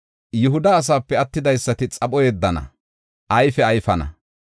Yihuda asaape attidaysati xapho yeddana; ayfe ayfana.